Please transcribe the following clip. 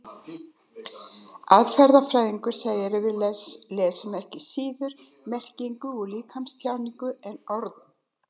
Atferlisfræðingar segja að við lesum ekki síður merkingu úr líkamstjáningu en orðum.